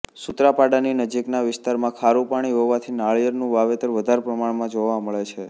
સુત્રાપાડાની નજીકના વિસ્તારમાં ખારું પાણી હોવાથી નારિયેળીનું વાવેતર વધારે પ્રમાણમાં જોવા મળે છે